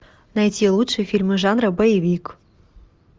найти лучшие фильмы жанра боевик